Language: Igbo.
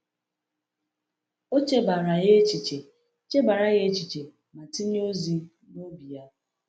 O chebara ya echiche chebara ya echiche ma tinye ozi ya n’obi.